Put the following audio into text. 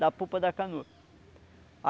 Da pupa da canoa.